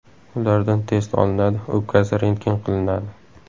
Ulardan test olinadi, o‘pkasi rentgen qilinadi.